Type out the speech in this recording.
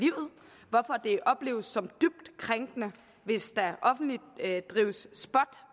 opleves som dybt krænkende hvis der offentligt drives spot